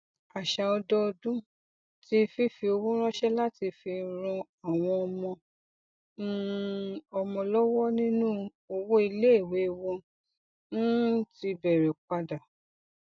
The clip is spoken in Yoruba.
àṣà ọdọọdún ti fífi owó ránṣẹ láti fi ran àwọn ọmọ um ọmọ lọwọ nínú owó iléìwé wọn um ti bẹrẹ padà